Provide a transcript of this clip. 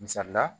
Misali la